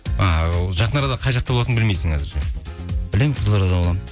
а ы жақын арада қай жақта болатыныңды білмейсің әзірше білемін қызылордада боламын